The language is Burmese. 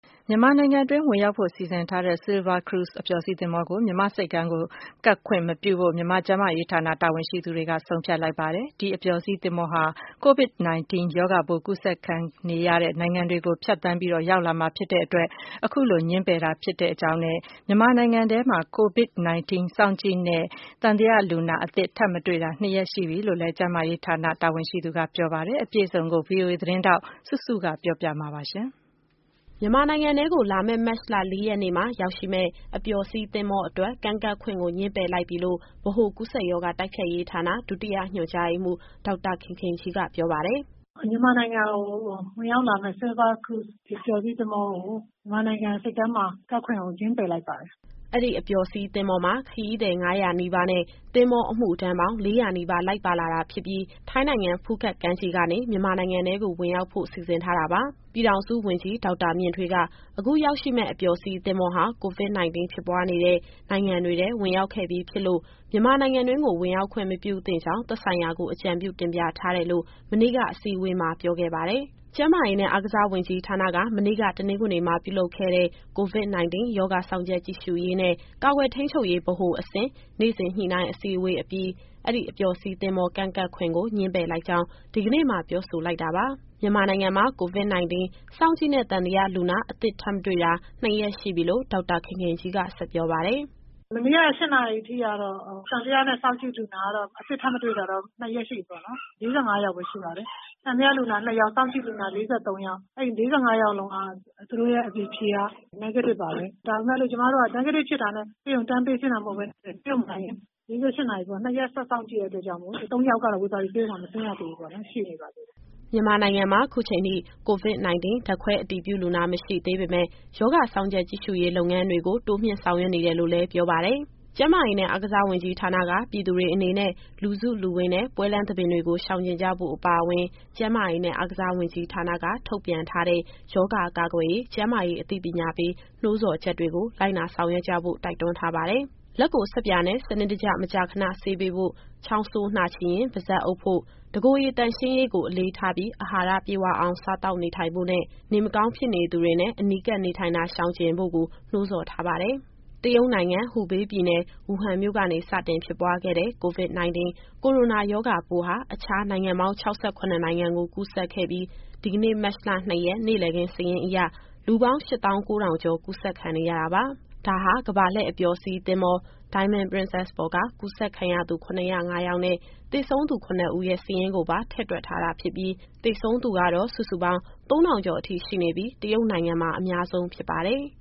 မြန်မာနိုင်ငံတွင်း ဝင်ရောက်ဖို့ စီစဉ်ထားတဲ့ Silver Cruise အပျော်စီးသင်္ဘောဟာ COVID- 19 ရောဂါပိုး ကူးစက်ခံနေရတဲ့ နိုင်ငံတွေကနေ လာရောက်တာ ဖြစ်တဲ့အတွက် မြန်မာ့ဆိပ်ကမ်းကို ကပ်ခွင့်မပြုပဲ ငြင်းပယ်လိုက်တယ်လို့ ကျန်းမာရေးဌာန တာဝန်ရှိသူကပြောပါတယ်။ ဒါ့အပြင် မြန်မာနိုင်ငံမှာ COVID- 19 စောင့်ကြည့်နဲ့ သံသယလူနာအသစ် ထပ်မတွေ့တာ နှစ်ရက်ရှိပြီလို့လည်း ဆိုပါတယ်။ အပြည့်အစုံကို ဗွီအိုအေသတင်းထောက် စုစုက ပြောပြသွားမှာပါ။ မြန်မာနိုင်ငံထဲကို လာမယ့် မတ်လ ၄ ရက်နေ့မှာ ရောက်ရှိမယ့် အပျော်စီးသင်္ဘောအတွက် ကမ်းကပ်ခွင့်ကို ငြင်းပယ်လိုက်ပြီလို့ ဗဟိုကူးစက်ရောဂါ တိုက်ဖျက်ရေးဌာန ဒုတိယညွှန်ကြားရေးမှူး ဒေါက်တာခင်ခင်ကြီးက ပြောပါတယ်။ “မြန်မာနိုင်ငံကို ဝင်ရောက်လာမယ့် Silver Cruise အပျော်စီးသင်္ဘောကို မြန်မာနိုင်ငံဆိပ်ကမ်းမှာ ကပ်ခွင့်ကို ငြင်းပယ်လိုက်ပါတယ်။” အဲဒီအပျော်စီးသင်္ဘောမှာ ခရီးသည် ၅၀၀ နီးပါးနဲ့ သင်္ဘောအမှုထမ်းပေါင်း ၄၀၀ နီးပါး လိုက်ပါလာတာ ဖြစ်ပြီး ထိုင်းနိုင်ငံ ဖူးခက်ကမ်းခြေကနေ မြန်မာနိုင်ငံထဲကို ဝင်ရောက်ဖို့ စီစဉ်ထားတာပါ။ ပြည်ထောင်စု ဝန်ကြီးဒေါက်တာမြင့်ထွေးက အခုရောက်ရှိမယ့် အပျော်စီးသင်္ဘောဟာ COVID- 19 ဖြစ်ပွားနေတဲ့ နိုင်ငံတွေထဲ ဝင်ရောက်ခဲ့ပြီးဖြစ်လို့ မြန်မာနိုင်ငံတွင်းကို ဝင်ရောက်ခွင့်မပြုသင့်ကြောင်း သက်ဆိုင်ရာကို အကြံပြုတင်ပြထားတယ်လို့ မနေ့က အစည်းအဝေးမှာ ပြောခဲ့ပါတယ်။ ကျန်းမာရေးနဲ့ အားကစားဝန်ကြီးဌာနက မနေ့က တနင်္ဂနွေမှာ ပြုလုပ်ခဲ့တဲ့ COVID-19 ရောဂါ စောင့်ကြပ်ကြည့်ရှုရေးနဲ့ ကာကွယ်ထိန်းချုပ်ရေး ဗဟိုအဆင့် နေ့စဉ် ညှိနှိုင်းအစည်းအဝေးအပြီး အဲဒီအပျော်စီးသင်္ဘော ကမ်းကပ်ခွင့်ကို ငြင်းပယ်လိုက်ကြောင်း ဒီကနေ့မှာ ပြောဆိုလိုက်တာပါ။ မြန်မာနိုင်ငံမှာ COVID- 19 စောင့်ကြည့်နဲ့ သံသယလူနာ အသစ်ထပ်မတွေ့တာ နှစ်ရက်ရှိပြီလို့ ဒေါက်တာခင်ခင်ကြီးက ဆက်ပြောပါတယ်။ “မနေ့က ၈ နာရီအထိကတော့ သံသယနဲ့ စောင့်ကြည့်လူနာ အသစ်ထပ်မတွေ့တာတော့ နှစ်ရက်ရှိပြီပေါ့နော်။ သံသယနဲ့ စောင့်ကြည့်လူနာ ၄၅ ယောက် ရှိခဲ့တယ်။ သံသယလူနာ ၂ ယောက်၊ စောင့်ကြည့်လူနာ ၄၃ ယောက်။ အဲဒီ ၄၅ ယောက်လုံးရဲ့ အဖြေက Negative ပါပဲ။ ဒါပေမယ့် ကျမတို့က Negative ဖြစ်တာနဲ့ ဆေးရုံတန်းပေးဆင်းတာ မဟုတ်ဘဲနဲ့ ဆေးရုံမှာတင် ၄၈နာရီပေါ့၊ နှစ်ရက်ဆက်စောင့်ကြည့်တဲ့ အတွက်ကြောင့်မို့လို့ ၃ ယောက်ကတော့ ဝေဘာဂီဆေးရုံမှာ မဆင်းရသေဘူးပေါ့နော်၊ ရှိနေပါသေးတယ်။” မြန်မာနိုင်ငံမှာ ခုချိန်ထိ COVID- 19 ဓာတ်ခွဲအတည်ပြု လူနာ မရှိသေးပေမဲ့ ရောဂါစောင့်ကြပ်ကြည့်ရှုရေး လုပ်ငန်းတွေကို တိုးမြှင့်ဆောင်ရွက်နေတယ်လို့လည်း ပြောပါတယ်။ ကျန်းမာရေးနဲ့ အားကစားဝန်ကြီးဌာနက ပြည်သူတွေအနေနဲ့ လူစုလူဝေးနဲ့ ပွဲလမ်းသဘင်တွေကို ရှောင်ကြဉ်ကြဖို့အပါအဝင် ကျန်းမာရေးနဲ့ အားကစားဝန်ကြီးဌာနက ထုတ်ပြန်ထားတဲ့ ရောဂါကာကွယ်ရေး ကျန်းမာရေးအသိပညာပေး နှိုးဆော်ချက်တွေကို လိုက်နာဆောင်ရွက်ကြဖို့ တိုက်တွန်းထားပါတယ်။ လက်ကို ဆပ်ပြာနဲ့ စနစ်တကျ မကြာခဏဆေးပေးဖို့၊ ချောင်းဆိုး နှာချေရင် ပါးစပ်အုပ်ဖို့၊ တကိုယ်ရေသန့်ရှင်းရေးကို အလေးထားပြီး၊ အာဟာရပြည့်ဝအောင် စားသောက်နေထိုင်ဖို့နဲ့ နေမကောင်းဖြစ်နေသူတွေနဲ့ အနီးကပ်နေထိုင်တာ ရှောင်ကြဉ်ဖို့ကို နှိုးဆော်ထားပါတယ်။ တရုတ်နိုင်ငံ၊ ဟူဘေးပြည်နယ်၊ ဝူဟန်မြို့ကနေ စတင်ဖြစ်ပွားခဲ့တဲ့ COVID- 19 ကိုရိုနာရောဂါပိုးဟာ အခြားနိုင်ငံပေါင်း ၆၇နိုင်ငံကို ကူးစက်ခဲ့ပြီး ဒီကနေ့ မတ်လ ၂ရက် နေ့လည်ခင်းစာရင်းအရ လူပေါင်း ၈၉,၂၁၉ ကူးစက်ခံနေရတာပါ။ ဒါဟာ ကမ္ဘာလှည့်အပျော်စီး သင်္ဘော Diamond Princess ပေါ်က ကူးစက်ခံရသူ ၇၀၅ ယောက်နဲ့ သေဆုံးသူ ၇ ဦးရဲ့ စာရင်းကိုပါ ထည့်တွက်ထားတာဖြစ်ပြီး သေဆုံးသူကတော့ စုစုပေါင်း ၃,၀၅၈ အထိရှိနေပြီး တရုတ်နိုင်ငံမှာ အများဆုံးဖြစ်ပါတယ်